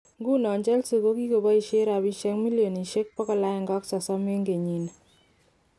Inguni chelsea kokikoboishen rapishek milionishek 130 eng kenyini